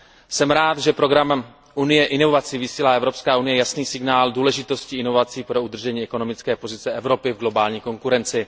Jsem rád, že programem Unie inovací vysílá Evropská unie jasný signál důležitosti inovací pro udržení ekonomické pozice Evropy v globální konkurenci.